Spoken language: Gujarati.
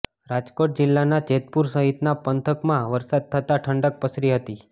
રાજકોટ જિલ્લાના જેતપુર સહિતના પંથકમાં વરસાદ થતા ઠંડક પસરી હતી